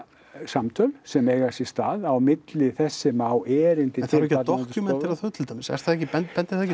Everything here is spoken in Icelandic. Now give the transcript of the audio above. upplýsingasamtöl sem eiga sér stað á milli þess sem á erindi en þarf ekki að dokúmentera þau til dæmis er það ekki bendir bendir það ekki